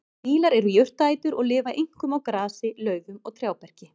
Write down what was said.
Fílar eru jurtaætur og lifa einkum á grasi, laufum og trjáberki.